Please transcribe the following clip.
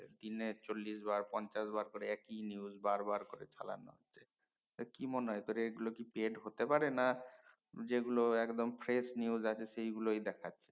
দিনে চল্লিশ বার পঞ্চাশ বার একি news বার বার করে চালানো কি মনে হয় তোর এগুলো কি paid হতে পারে না যে গুলো একদম fresh news আছে সেই গুলোই দেখাছে